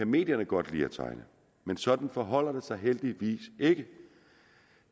medierne godt lide at tegne men sådan forholder det sig heldigvis ikke